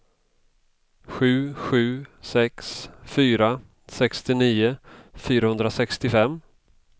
sju sju sex fyra sextionio fyrahundrasextiofem